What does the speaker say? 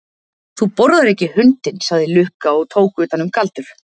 Þú borðar ekki hundinn, sagði Lukka og tók utan um Galdur.